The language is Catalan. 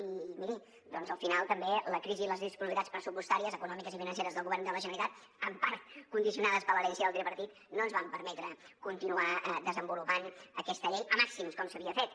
i miri al final també la crisi i les disponibilitats pressupostàries econòmiques i financeres del govern de la generalitat en part condicionades per l’herència del tripartit no ens van permetre continuar desenvolupant aquesta llei a màxims com s’havia fet